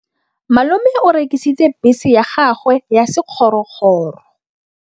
Malome o rekisitse bese ya gagwe ya sekgorokgoro.